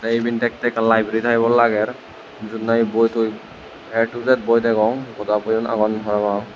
te iben dekte ekkan library type or lager jut nahi boi toi a to z boi degong goda boi un agon parapang.